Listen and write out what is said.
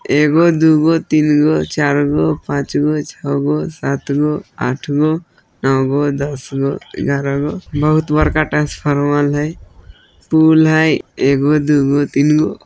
एगो दुगो तीनगो चारगो पांचगो छगो सातगो आटगो नोवगो दसगो ग्यारहगो बहुत बड़का ट्रांसफार्मर हई पूल हई एगो दुगो तीनगो --